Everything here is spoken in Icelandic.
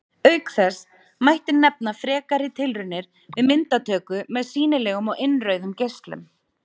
Auk þeirra mætti nefna frekari tilraunir við myndatöku með sýnilegum og innrauðum geislum.